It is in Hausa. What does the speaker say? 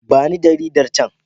Ba ni jaridar can.